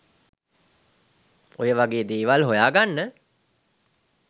ඔය වගේ දේවල් හොයාගන්න.